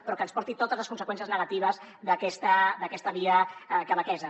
però que ens porti totes les conseqüències negatives d’aquesta via quebequesa